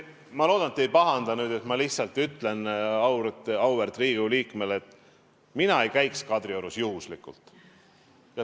Ma loodan, te ei pahanda, aga ma lihtsalt ütlen auväärt Riigikogu liikmele, et mina ei käiks Kadriorus juhuslikult.